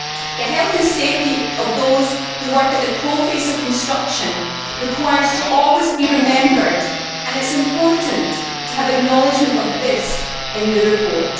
The health and safety of those who work at the coalface of construction should always be remembered and it is important to have acknowledgement of this in the report.